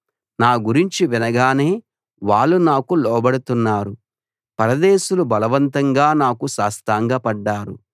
నా గురించి వినగానే వాళ్ళు నాకు లోబడుతున్నారు పరదేశులు బలవంతంగా నాకు సాష్టాంగపడ్డారు